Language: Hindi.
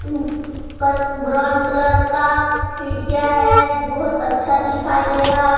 ब्राउन कलर का खिड़कियां है जो बहुत अच्छा दिखाई दे रहा है।